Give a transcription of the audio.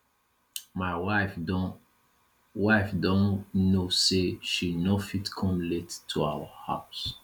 my wife don wife don know say she no fit come late to our house